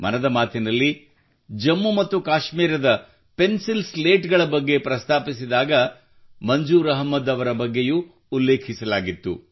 ಮನದ ಮಾತಿನಲ್ಲಿ ಜಮ್ಮು ಮತ್ತು ಕಾಶ್ಮೀರದ ಪೆನ್ಸಿಲ್ ಸ್ಲೇಟ್ ಗಳ ಬಗ್ಗೆ ಪ್ರಸ್ತಾಪಿಸಿದಾಗ ಮಂಜೂರ್ ಅಹ್ಮದ್ ಅವರ ಬಗ್ಗೆಯೂ ಉಲ್ಲೇಖಿಸಲಾಗಿತ್ತು